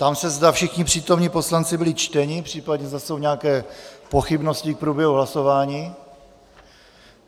Ptám se, zda všichni přítomní poslanci byli čteni, případně zda jsou nějaké pochybnosti k průběhu hlasování.